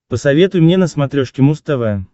посоветуй мне на смотрешке муз тв